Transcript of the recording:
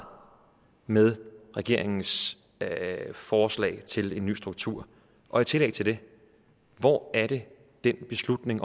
med regeringens forslag til en ny struktur og i tillæg til det hvor er det den beslutning